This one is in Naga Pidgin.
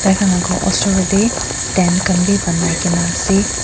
laga osorot te tang khan bhi banai kina ase.